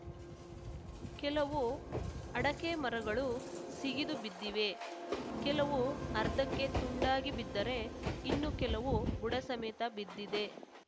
ಕೆಲವು ಅಡಕೆ ಮರಗಳು ಸಿಗಿದು ಬಿದ್ದಿವೆ ಕೆಲವು ಅರ್ಧಕ್ಕೆ ತುಂಡಾಗಿ ಬಿದ್ದರೆ ಇನ್ನು ಕೆಲವು ಬುಡ ಸಮೇತ ಬಿದ್ದಿದೆ